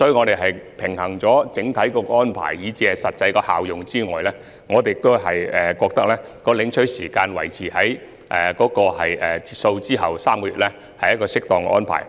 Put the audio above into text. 在平衡整體安排以至實際效用後，我們認為將領取補貼的時限維持在截數後3個月內，屬合適安排。